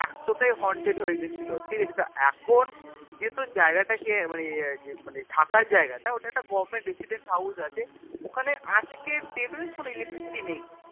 এতোটাই Haunted হয়ে গেছিলো ঠিকাছে তো এখন যেহুতু জায়গাটাকে মানে ইয়ে আর কি মানে থাকার জায়গাটা ওটা একটা Government resident house আছে ওখানে আজকের Date এও জানিস কোনো Electricity নেই